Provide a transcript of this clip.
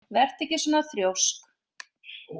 Vertu ekki svona þrjósk!